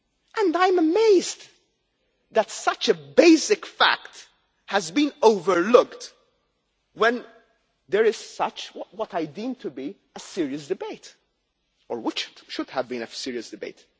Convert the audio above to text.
And I am amazed that such a basic fact has been overlooked when there is such what I deem to be a serious debate, or which should have been a serious debate.